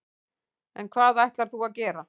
En hvað ætlar þú að gera?